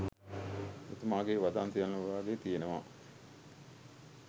එතුමාගේ වදන් සියල්ලම වාගේ තිබෙනවා